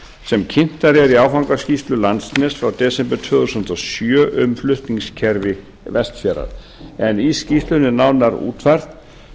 sem kynntar eru í áfangaskýrslu landsnets frá desember tvö þúsund og sjö um flutningskerfi vestfjarða en í skýrslunni er nánar útfært